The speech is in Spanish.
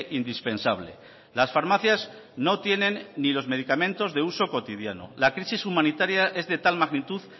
indispensable las farmacias no tienen ni los medicamentos de uso cotidiano la crisis humanitaria es de tal magnitud